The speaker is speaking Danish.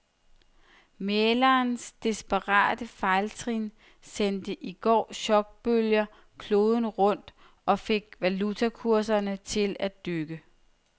Mæglerens desperate fejltrin sendte i går chokbølger kloden rundt og fik valutakurserne til at dykke.